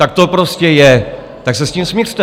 Tak to prostě je, tak se s tím smiřte!